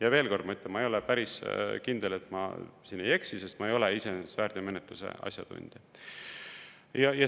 Ja veel kord ma ütlen, ma ei ole päris kindel, et ma siin ei eksi, sest ma ei ole iseenesest väärteomenetluse asjatundja.